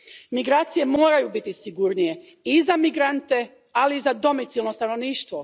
Migracije moraju biti sigurnije i za migrante, ali i za domicilno stanovništvo.